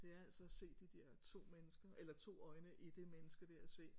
Det er altså at se de der to mennesker eller to øjne i det menneske der og se